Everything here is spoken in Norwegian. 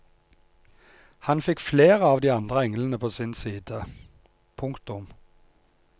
Han fikk flere av de andre englene på sin side. punktum